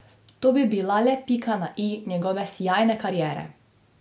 To bi bila le pika na i njegove sijajne kariere.